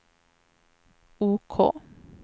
OK